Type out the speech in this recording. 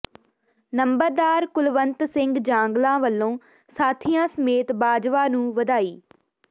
ਨੰਬਰਦਾਰ ਕੁਲਵੰਤ ਸਿੰਘ ਜਾਂਗਲਾ ਵੱਲੋਂ ਸਾਥੀਆਂ ਸਮੇਤ ਬਾਜਵਾ ਨੂੰ ਵਧਾਈ